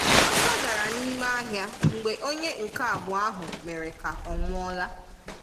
Ọsọ dárá n’ime ahịa mgbe onye nke abụọ ahụ mere ka ọ nwụọ́la.